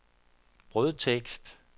brødtekst